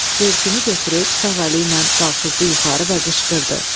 Və börkünü götürüb sağ əli ilə qalxızdı yuxarı və qışqırdı: